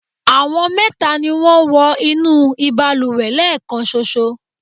àwọn mẹta ni wọ́n wọ inú ìbalùwẹ̀ lẹ́ẹ̀kanṣoṣo